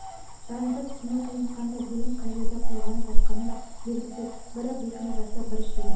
жағдайды түсіну қиын қандай бөлім қай жерде қорғанып жатқаны да белгісіз бірі бекініп жатса бірі шегініп